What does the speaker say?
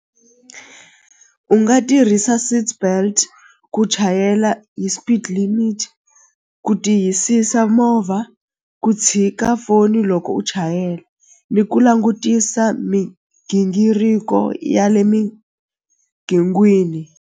U nga tirhisa seatbelt ku chayela hi speed limit ku tiyisisa movha ku tshika foni loko u chayela ni ku langutisa migingiriko ya le .